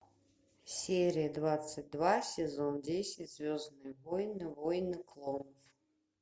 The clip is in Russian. серия двадцать два сезон десять звездные войны войны клонов